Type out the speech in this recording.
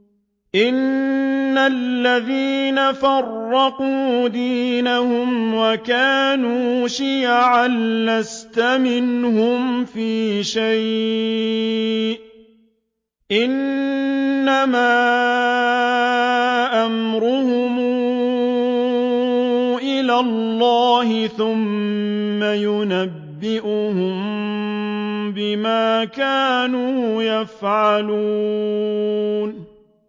إِنَّ الَّذِينَ فَرَّقُوا دِينَهُمْ وَكَانُوا شِيَعًا لَّسْتَ مِنْهُمْ فِي شَيْءٍ ۚ إِنَّمَا أَمْرُهُمْ إِلَى اللَّهِ ثُمَّ يُنَبِّئُهُم بِمَا كَانُوا يَفْعَلُونَ